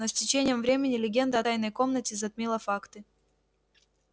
но с течением времени легенда о тайной комнате затмила факты